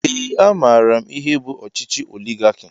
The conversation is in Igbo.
Ee a maara m ihe bụ ọchịchị oligarki